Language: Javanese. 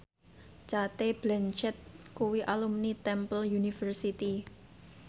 Cate Blanchett kuwi alumni Temple University